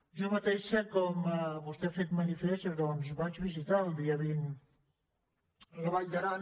jo mateixa com vostè ha posat de manifest doncs vaig visitar el dia vint la vall d’aran